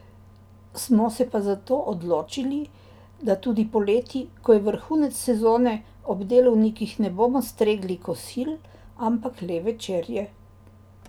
Smo se pa zato odločili, da tudi poleti, ko je vrhunec sezone, ob delovnikih ne bomo stregli kosil, ampak le večerje.